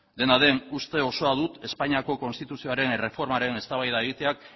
dena den uste osoa dut espainiako konstituzioaren erreformaren eztabaida egiteak